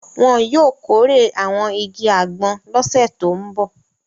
Wọn yóò kórè àwọn igi àgbọn lọ́sẹ̀ tó ń bọ̀.